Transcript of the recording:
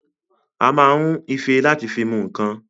A ma ń ife láti fi mu ǹǹkan